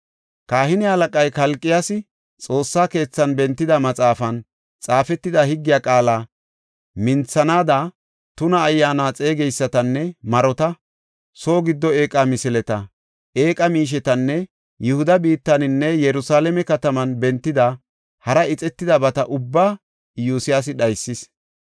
Kahine halaqay Kalqiyaasi Xoossa keethan bentida maxaafan xaafetida higgiya qaala minthanaada, tuna ayyaana xeegeysatanne marota, soo giddo eeqa misileta, eeqa miishetanne Yihuda biittaninne Yerusalaame kataman bentida hara ixetidabata ubbaa Iyosyaasi dhaysis.